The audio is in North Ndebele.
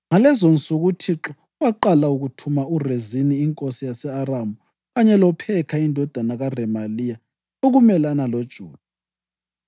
(Ngalezonsuku uThixo waqala ukuthuma uRezini inkosi yase-Aramu kanye loPhekha indodana kaRemaliya ukumelana loJuda.)